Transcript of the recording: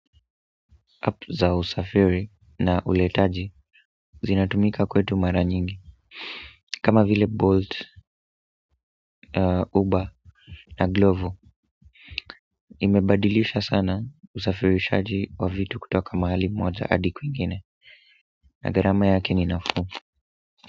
App za usafiri na uletaji zinatumika kwetu mara nyingi kama vile Bolt, Ubber, na Glovo. Imebadilisha sana usafirishaji wa vitu kutoka mahali moja adi kwingine. Na gharama yake ni nafuu.